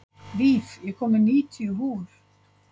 Víf, ég kom með níutíu húfur!